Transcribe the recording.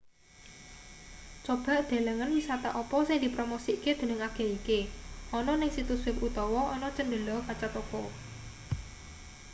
coba delengen wisata apa sing dipromosikke dening agen iki ana ning situs web utawa ana cendhela kaca toko